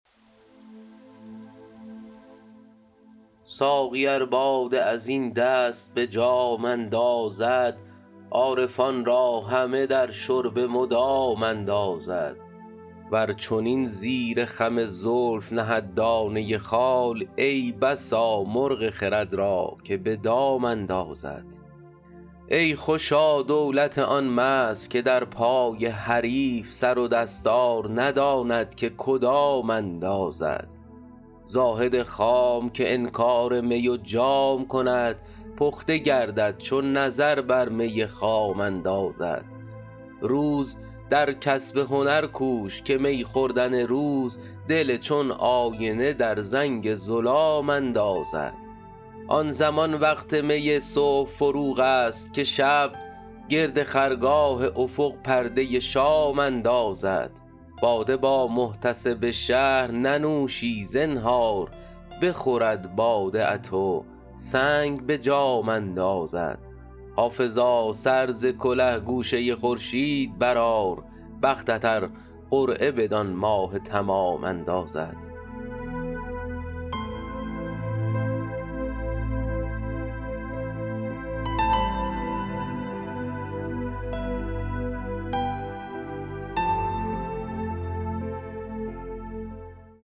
ساقی ار باده از این دست به جام اندازد عارفان را همه در شرب مدام اندازد ور چنین زیر خم زلف نهد دانه خال ای بسا مرغ خرد را که به دام اندازد ای خوشا دولت آن مست که در پای حریف سر و دستار نداند که کدام اندازد زاهد خام که انکار می و جام کند پخته گردد چو نظر بر می خام اندازد روز در کسب هنر کوش که می خوردن روز دل چون آینه در زنگ ظلام اندازد آن زمان وقت می صبح فروغ است که شب گرد خرگاه افق پرده شام اندازد باده با محتسب شهر ننوشی زنهار بخورد باده ات و سنگ به جام اندازد حافظا سر ز کله گوشه خورشید برآر بختت ار قرعه بدان ماه تمام اندازد